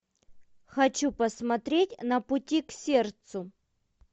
хочу посмотреть на пути к сердцу